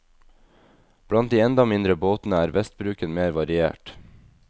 Blant de enda mindre båtene er vestbruken mer variert.